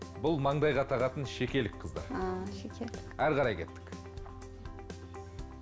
бұл маңдайға тағатын шекелік қыздар ааа шекелік әрі қарай кеттік